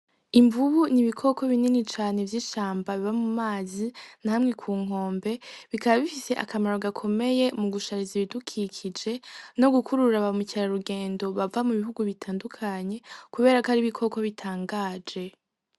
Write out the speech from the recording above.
Imvubu n'ibikoko binini cane vy'ishamba biba mu mazi na hamwe ku nkombe, bikaba bifise akamaro gakomeye mu gushariza ibidukikije no gukurura ba mukerarugendo bava mu bihugu bitandukanye kubera ko ari ibikoko bitangaje.